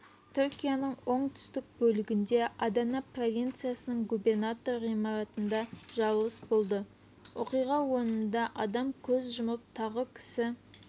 түркияның оңтүстік бөлігінде адана провинциясының губернатор ғимаратында жарылыс болды оқиға орнында адам көз жұмып тағы кісі